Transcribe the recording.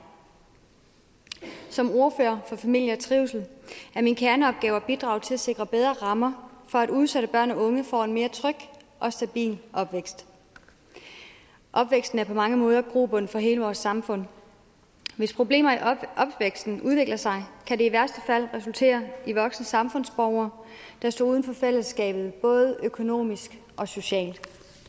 som ordfører for familie og trivsel er min kerneopgave at bidrage til at sikre bedre rammer for at udsatte børn og unge får en mere tryg og stabil opvækst opvæksten er på mange måder grobund for hele vores samfund hvis problemer i opvæksten udvikler sig kan det i værste fald resultere i voksne samfundsborgere der står uden for fællesskabet både økonomisk og socialt